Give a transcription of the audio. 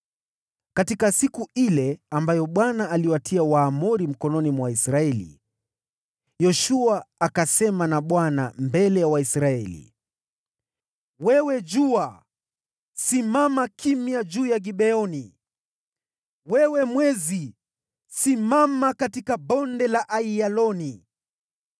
Katika siku ile ambayo Bwana aliwapeana Waamori kwa Israeli, Yoshua akanena na Bwana akiwa mbele ya Waisraeli akasema: “Wewe jua, simama juu ya Gibeoni, wewe mwezi, tulia juu ya Bonde la Aiyaloni.”